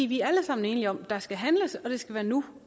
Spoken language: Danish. vi er alle sammen enige om at der skal handles og at det skal være nu